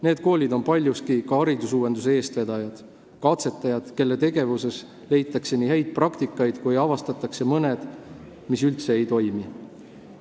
Need koolid on paljuski ka haridusuuenduse eestvedajad, katsetajad, kelle tegevuse põhjal saab otsustada, milline on hea praktika ja mis üldse ei toimi.